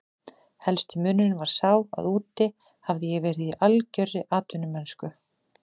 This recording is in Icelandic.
Helsti munurinn var sá að úti hafði ég verið í algjörri atvinnumennsku.